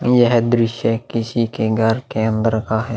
यह दृश्य किसी के घर के अंदर का है।